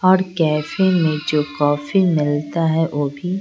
और कैफे में जो कॉफी मिलता है वो भी--